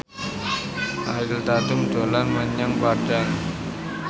Ariel Tatum dolan menyang Padang